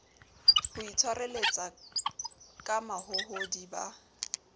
ho itshwareletsa ka mahohodi ba